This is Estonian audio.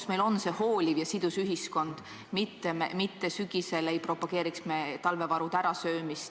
... et meil on hooliv ja sidus ühiskond, mitte ei propageeriks sügisel talvevarude ärasöömist ...